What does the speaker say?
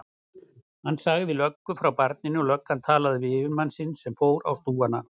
Hann sagði löggu frá barninu og löggan talaði við yfirmann sinn sem fór á stúfana.